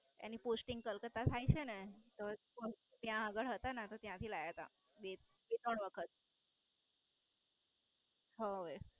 એની Posting Calcutta થાય છેને ત્યાં આગળ હતા ને ત્યાંથી લાયા તા બે ત્રણ વખત હા હવે.